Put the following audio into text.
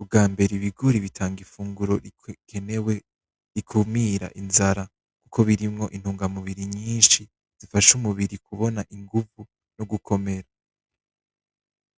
ubwambere ibigori bitanga imfuguro ikenewe ko birimwo intungamubiri nyinshi bifasha umubiri kubona inguvu nogukomera.